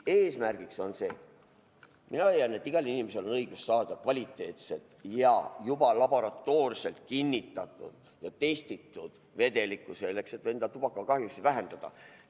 Eesmärgiks on see, mina leian, et igal inimesel on õigus saada kvaliteetset ja juba laboratoorselt kinnitatud ning testitud vedelikku selleks, et endale tubakast kahju vähendada.